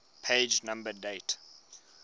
page number date